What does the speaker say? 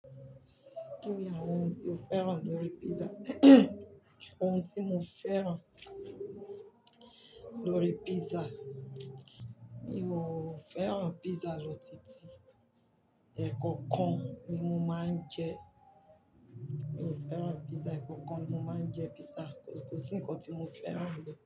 Kíni àwọn ohun tí o féràn lórí pizza? Ohun tí mo féràn lórí pizza, mi ò féràn pizza lọ titi. Ẹ̀kọ̀kan ni mo máa ń jẹ. Mi ò féràn pizza, ẹ̀kọ̀kan ni mo máa ń jẹ pizza. Kò sí ǹkan tí mo féràn ní.